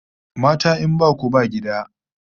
Mata in baku ba gida!